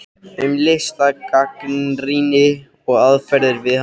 Um listgagnrýni og aðferðir við hana